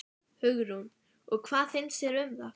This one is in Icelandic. Hugrún: Og hvað finnst þér um það?